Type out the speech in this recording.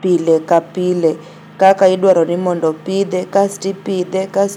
pile ka pile kaka idwaroni mondo opidhe kasti pidhe, kasti pidhe.